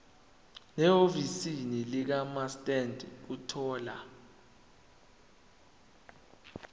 nehhovisi likamaster ukuthola